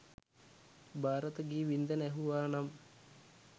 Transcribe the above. භාරත ගී වින්ඳන ඇහුවා නම්